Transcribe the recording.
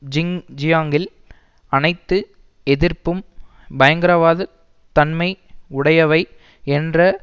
ஜிங்ஜியாங்கில் அனைத்து எதிர்ப்பும் பயங்கரவாதத் தன்மை உடையவை என்ற